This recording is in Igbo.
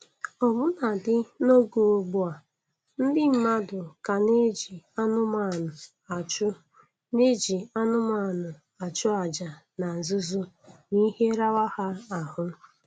Ọbụnadị n'oge ugbu a, ndị mmadụ ka na-eji anụmanụ achụ na-eji anụmanụ achụ aja na nzuzo m'ihe rawa ha ahụ